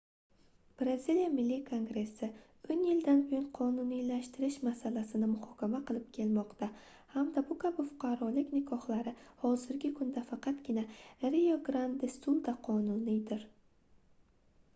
braziliya milliy kongressi 10 yildan buyon qonuniylashtirish masalasini muhokama qilib kelmoqda hamda bu kabi fuqarolik nikohlari hozirgi kunda faqatgina rio grand de sulda qonuniydir